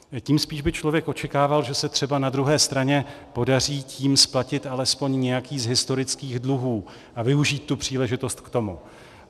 Tím spíš by člověk očekával, že se třeba na druhé straně podaří tím splatit alespoň nějaký z historických dluhů a využít tu příležitost k tomu.